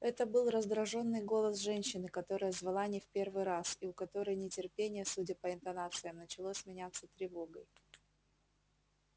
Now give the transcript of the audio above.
это был раздражённый голос женщины которая звала не в первый раз и у которой нетерпение судя по интонациям начало сменяться тревогой